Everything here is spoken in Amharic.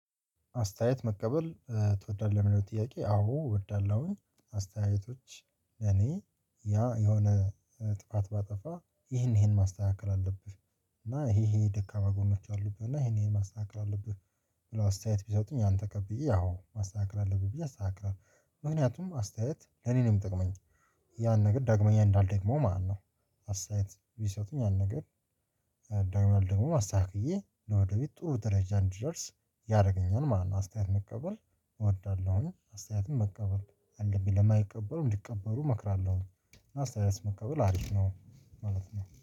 አስተያየት መቀበል ትወዳለህ የሚለው ጥያቄ አዎ እወዳለሁኝ። እኔ ያ የሆነ ጥፋት ባጠፋ ይሄን ይሄን ማስተካከል አለብህ። እና ይሄ ይሄ ደካማ ጎኖች አሉብህ እና ይሄን ይሄን ማስተካከል አለብህ። ብለው አስተያየት ቢሰጡኝ አንተ ቀብዬ ያው ማስተካከል አለብኝ ብዬ አስተካክላለሁ። ምክንያቱም አስተያየት ለኔ ነው የሚጠቅመኝ ያን ነገር ዳግመኛ እንዳልደግመው ማለት ነው። አስተያየት ቢሰጡኝ ያን ነገር ዳውሜንል ደግሞ ማስተካከዬ ወደ ቤት ጥሩ ደረጃ እንድደርስ ያደረገኛል። ማንንም አስተያየት መቀበል እወዳለሁኝ አስተያየትን መቀበል አንድም ለማይቀበሉም እንዲቀበሉ እመክራለሁ። አስተያየት መቀበል አሪፍ ነው ማለት ነው